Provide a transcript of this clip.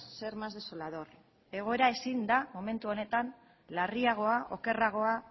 ser más desolador egoera ezin da momentu honetan larriagoa okerragoa